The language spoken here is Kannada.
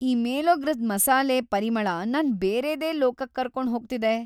ಈ ಮೇಲೋಗ್ರದ್ ಮಸಾಲೆ ಪರಿಮಳ ನನ್ನ ಬೇರೆದೇ ಲೋಕಕ್ ಕರ್ಕೊಂಡ್ ಹೋಗ್ತಿದೆ.